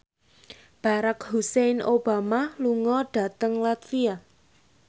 Barack Hussein Obama lunga dhateng latvia